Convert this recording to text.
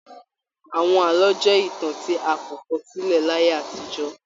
Àwọn àlọ jẹ ìtàn tí a kò kọ sílẹ láyé àtijọ́.